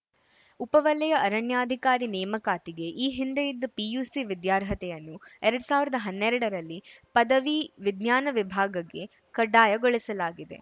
ಉಪ ವಲಯ ಅರಣ್ಯಾಧಿಕಾರಿ ನೇಮಕಾತಿಗೆ ಈ ಹಿಂದೆ ಇದ್ದ ಪಿಯುಸಿ ವಿದ್ಯಾರ್ಹತೆಯನ್ನು ಎರಡ್ ಸಾವಿರದ ಹನ್ನೆರಡರಲ್ಲಿ ಪದವಿ ವಿಜ್ಞಾನ ವಿಭಾಗಗೆ ಕಡ್ಡಾಯಗೊಳಿಸಲಾಗಿದೆ